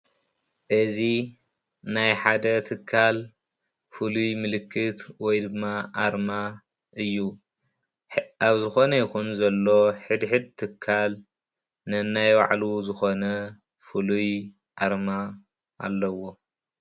እዚ ናይ ሓደ ትካል ፍሉይ ምልክት ወይ ድማ ኣርማ እዩ፡፡ ኣብ ዝኾነ ይኹን ዘሎ ሕድሕድ ትካል ነናይ ባዕሉ ዝኾነ ፍሉይ ኣርማ ኣለዎ፡፡